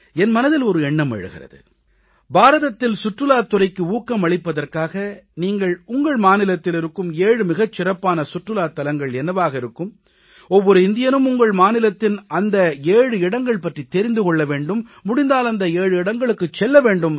என் மனதில் ஓர் எண்ணம் எழுகிறது பாரதத்தில் சுற்றுலாத் துறைக்கு ஊக்கம் அளிப்பதற்காக நீங்கள் உங்கள் மாநிலத்தில் இருக்கும் 7 மிகச் சிறப்பான சுற்றுலாத் தலங்கள் என்னவாக இருக்கும் ஒவ்வொரு இந்தியனும் உங்கள் மாநிலத்தின் அந்த 7 இடங்கள் பற்றித் தெரிந்து கொள்ள வேண்டும் முடிந்தால் அந்த 7 இடங்களுக்குச் செல்ல வேண்டும்